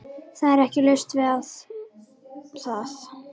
Það er ekki laust við að